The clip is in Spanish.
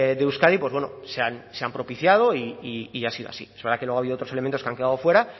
de euskadi pues bueno se han propiciado y han sido así es verdad que luego ha habido otros elementos que han quedado fuera